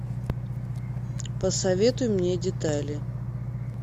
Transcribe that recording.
посоветуй мне детали